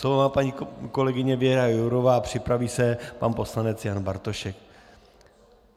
Slovo má paní kolegyně Věra Jourová a připraví se pan poslanec Jan Bartošek.